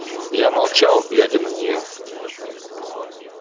я молчал глядя на неё